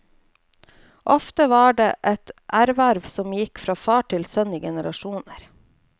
Ofte var det et erhverv som gikk fra far til sønn i generasjoner.